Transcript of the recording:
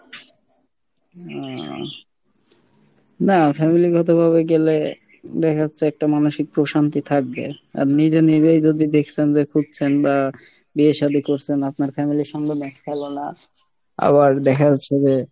হম নাহ family গত ভাবে গেলে দেখা যাচ্ছে যে একটা মানসিক প্রশান্তি থাকবে, আর নিজে নিজে যদি দেখছেন বা খুঁজছেন বা বিয়ে সাদী করছেন, আপনার family এর সঙ্গে match খেলো না, আবার দেখা যাচ্ছে যে